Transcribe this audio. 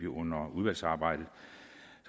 under udvalgsarbejdet